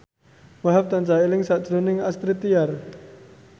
Wahhab tansah eling sakjroning Astrid Tiar